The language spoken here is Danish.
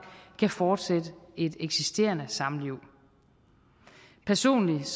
kan fortsætte et eksisterende samliv personligt